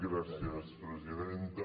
gràcies presidenta